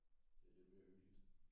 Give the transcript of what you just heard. Det lidt mere hyggeligt